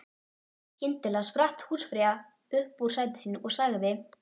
Skyndilega spratt húsfreyja upp úr sæti sínu og sagði